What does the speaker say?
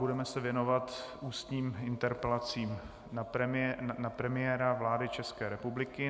Budeme se věnovat ústním interpelacím na premiéra vlády České republiky.